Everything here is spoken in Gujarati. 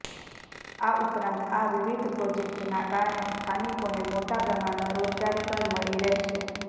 આ ઉપરાંત આ વિવિધ પ્રોજેક્ટના કારણે સ્થાનિકોને મોટા પ્રમાણમાં રોજગારી પણ મળી રહેશે